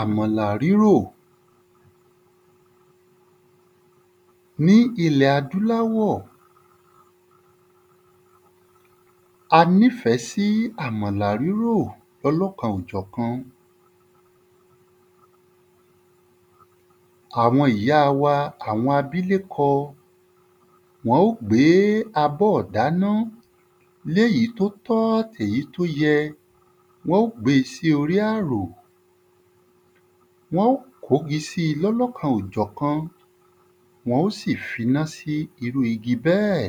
Àmọ̀là rírọ̀ Ní ìlẹ̀ adúláwọ̀, a ní fẹ́ sí àmàlà rírò lọ́lọ́kan-o-jọ̀kan. Àwọn ìyá wa, àwọn abílékọ wọ́n ó gbé abọ́ ìdáná l'éyí t’ó tọ́ àt'èyí t’ó yẹ Wọ́n ó gbé e sí orí àrò Wọ́n ó gbé 'gi sí i lọ́lọ́kan-o-jọ̀kan. Wọ́n ó sì f'iná sí irú igi bẹ́ẹ̀.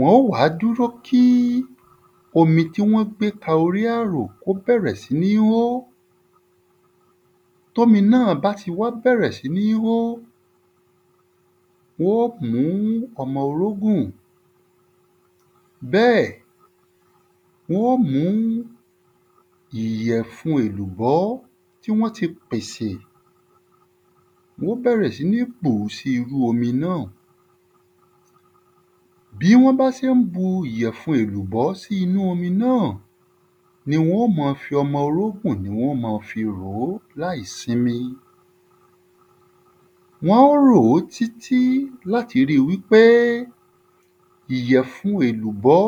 Wọ́n ó dúró kí omi tí wọ́n gbé ka orí àro k’ó bẹ̀rẹ̀ sí ní ń hó. T'ómi náà bá ti wá bẹ̀rẹ̀ sí ní ń hó, wọ́n ó mú ọmọ orógùn Bẹ́ẹ̀, wọ́n ó mú ìyẹ̀fun ẹ̀lùbọ́ tí wọ́n ti pèsè wọ́n ó bẹ̀rẹ̀ sí ní pòó sí inú omi náà. Bí wọ́n bá sé ń bu ìyẹ̀fun ẹ̀lùbọ́ sí inú omi náà, ni wọ́n ó ma fí ọmọ orógùn ni wọ́n ó ma fi ròó láìsimi. Wọ́n ròó tí tí l’áti ri wí pé ìyẹ̀fun ẹ̀lùbọ́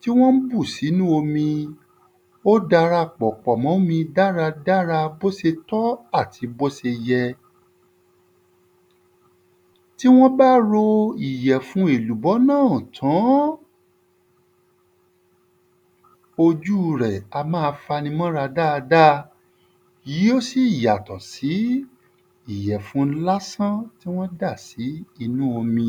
tí wọ́n ń bù s'ínú omi ó darapọ̀ pọ̀ m'ómi dáradára b’ó se tọ́ àti b'ó se yẹ. Tí wọ́n bá ro ìyẹ̀fun ẹ̀lùbọ́ náà tán, ojú rẹ̀ a má a fa 'ni mọ 'ra dáada Yí ó sì yàtọ̀ sí ìyẹ̀fun lásán tí wọ́n dà sí inú omi.